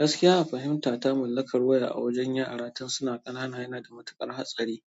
Gaskiya a fahimta ta mallakar waya a wajen yara, tun suna ƙanana yana da matuƙar hatsari